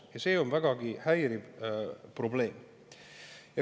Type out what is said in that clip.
Ja see on vägagi häiriv probleem.